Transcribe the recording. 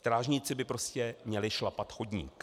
Strážníci by prostě měli šlapat chodník.